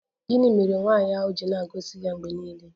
Gịnị mere nwaanyị ahụ ji na-agọzi ya mgbe niile?